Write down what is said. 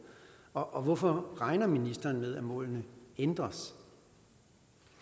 og hvorfor regner ministeren med at målene ændres